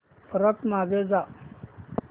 परत मागे जा